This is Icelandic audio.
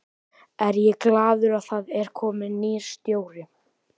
Er ég glaður að það er kominn nýr stjóri?